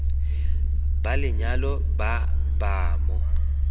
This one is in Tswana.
ba lenyalo ba ba mo